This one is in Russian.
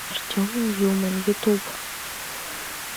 артем ньюман ютуб